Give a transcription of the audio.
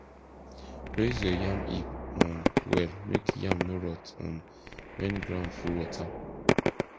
raise your yam heap um well make yam no rot um when ground full wota